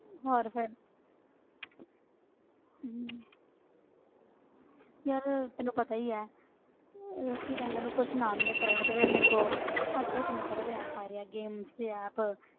ਹੋਰ ਫਿਰ ਹਮ ਯਾਰ ਤੈਨੂੰ ਪਤਾ ਹੀ ਹੈ ਇਹ ਕੀ ਕਹਿੰਦੇ ਆ ਇਹਨੂੰ ਕੁਛ ਨਾ ਮਿਲੇ ਕਰਨ ਨੂੰ ਤੇ ਫਿਰ ਮੇਰੇ ਕੋਲ ਅੱਜ ਕੱਲ੍ਹ ਕਿੰਨੇ ਸਾਰੇ ਤੇ app ਆਏਦੇ ਹੈ games ਦੇ app